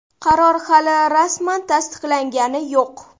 Qaror hali rasman tasdiqlangani yo‘q.